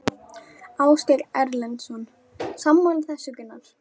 Ásgeir Erlendsson: Sammála þessu Gunnar?